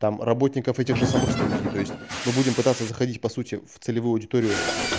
там работников этих же самых студии то есть мы будем пытаться заходить по сути в целевую аудиторию